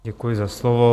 Děkuji za slovo.